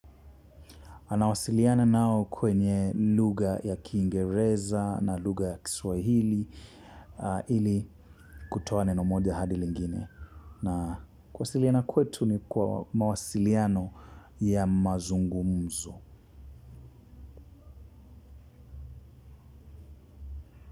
Anawasiliana nao kwenye lugha ya Kingereza na lugha ya Kiswahili ili kutoa neno moja hadi lingine. Na kuwasiliana kwetu ni kwa mawasiliano ya mazungumzo.